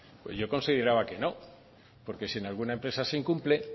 pues yo consideraba que no porque si en alguna empresa se incumple